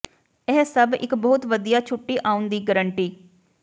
ਇਹ ਸਭ ਇੱਕ ਬਹੁਤ ਵਧੀਆ ਛੁੱਟੀ ਆਉਣ ਦੀ ਗਰੰਟੀ